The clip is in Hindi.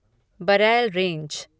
बरैल रेंज